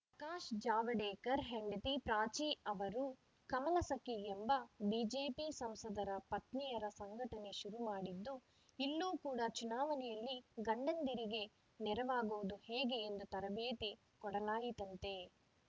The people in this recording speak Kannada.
ಕಾಶ್‌ ಜಾವಡೇಕರ್‌ ಹೆಂಡತಿ ಪ್ರಾಚಿ ಅವರು ಕಮಲ ಸಖಿ ಎಂಬ ಬಿಜೆಪಿ ಸಂಸದರ ಪತ್ನಿಯರ ಸಂಘಟನೆ ಶುರುಮಾಡಿದ್ದು ಇಲ್ಲೂ ಕೂಡ ಚುನಾವಣೆಯಲ್ಲಿ ಗಂಡಂದಿರಿಗೆ ನೆರವಾಗೋದು ಹೇಗೆ ಎಂದು ತರಬೇತಿ ಕೊಡಲಾಯಿತಂತೆ